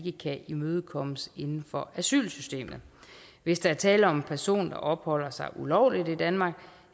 ikke kan imødekommes inden for asylsystemet hvis der er tale om en person der opholder sig ulovligt i danmark